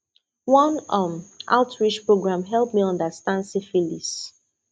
one um outreach program help me understand syphilis